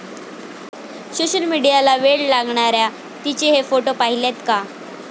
सोशलमीडियाला वेड लावणाऱ्या 'ती'चे हे फोटो पाहिलेत का?